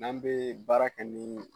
N'an bɛ baara kɛ ni